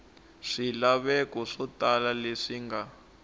swilaveko swo tala leswi nga